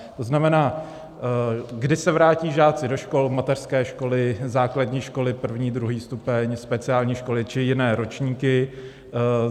To znamená: Kdy se vrátí žáci do škol, mateřské školy, základní školy první, druhý stupeň, speciální školy či jiné ročníky?